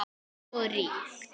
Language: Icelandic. Og ríkt.